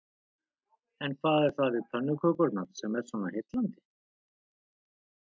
En hvað er það við pönnukökurnar sem er svona heillandi?